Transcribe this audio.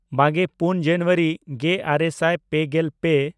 ᱵᱟᱜᱮᱼᱯᱩᱱ ᱡᱟᱱᱩᱣᱟᱨᱤ ᱜᱮᱼᱟᱨᱮ ᱥᱟᱭ ᱯᱮᱜᱮᱞ ᱯᱮ